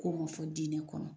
Ko ko fɔ denni kɔnɔ